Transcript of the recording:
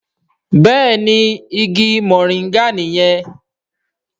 Béèni ìgi Moringa niyen.